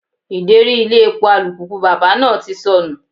Ideri ilé epo alùpùpù bàbá náà ti sọnù.